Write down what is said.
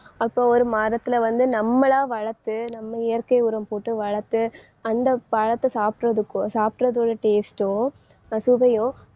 அப்போ ஒரு மரத்தில வந்து நம்மளா வளர்த்து நம்ம இயற்கை உரம் போட்டு வளர்த்து அந்த பழத்தை சாப்பிடுறதுக்கோ சாப்பிடுறதோட taste ஓ அஹ் சுவையோ